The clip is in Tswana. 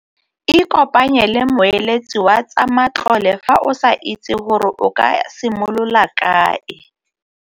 Ikopanye le moeletsi wa tsa matlole fa o sa itse gore o ka simolola kae.